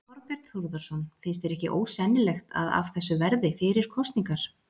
Þorbjörn Þórðarson: Finnst þér ekki ósennilegt að af þessu verði fyrir kosningar?